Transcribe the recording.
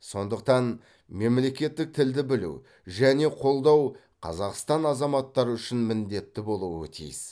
сондықтан мемлекеттік тілді білу және қолдау қазақстан азаматтары үшін міндетті болуы тиіс